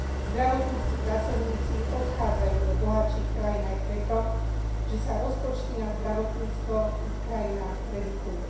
Zdravotnícki pracovníci odchádzajú do bohatších krajín aj preto, že sa rozpočty na zdravotníctvo v ich krajinách redukujú.